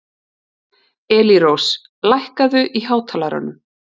Elírós, lækkaðu í hátalaranum.